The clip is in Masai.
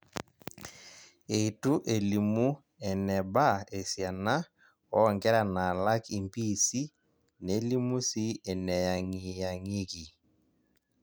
Eitu elimu enebaa esiana oonkera naalak impiisi nelimu sii eneyang'iyang'ieki.